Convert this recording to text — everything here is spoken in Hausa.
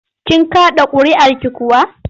Kin kaɗa ƙuri'arki kuwa?